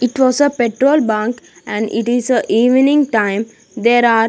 It was a petrol bunk and it is a evening time there are --